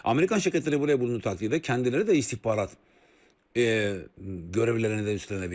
Amerikan şirkətləri buraya olduğu təqdirdə, kəndləri də istihbarat, ııı, görəvlərini də üstlənə bilirlər.